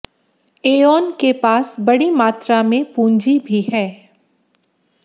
aeon के पास बड़ी मात्रा में पूंजी भी है